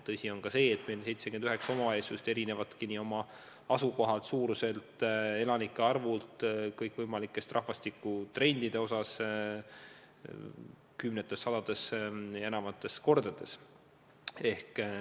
Tõsi on ka see, et meie 79 omavalitsust on erinevad oma asukohalt, suuruselt, elanike arvult ja kõikvõimalike rahvastikutrendide poolest kümnetes, sadades ja enamateski kordades.